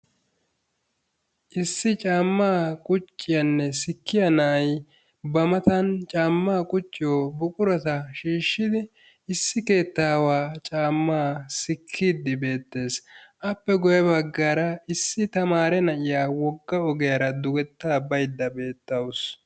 Issi caamma qucciyanne sikkiyaa na'aay ba mattan caamma qucciyoo buqquratta shishshidi issi keettawa caamma sikkidi beettes. Appe guye baggara issi tamaare na'iyaa wogga ogiyaara dugetta bayidda beetawussu.